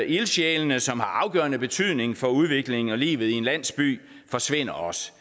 ildsjælene som har afgørende betydning for udviklingen og livet i en landsby forsvinder også